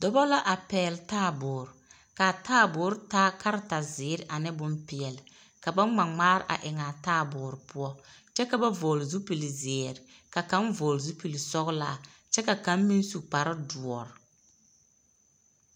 Dͻbͻ la a pԑgele taaboore. Ka a taaboore taa kaleta zeere ane bompeԑle. Ka ba ŋma ŋmaare a eŋaa taaboore poͻ. Kyԑ ka vͻgele zupili zeere, ka kaŋa vͻgele sͻgelaa kyԑ ka kaŋ meŋ su kpare dõͻ.